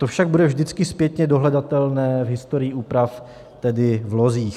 To však bude vždycky zpětně dohledatelné v historii úprav, tedy v lozích.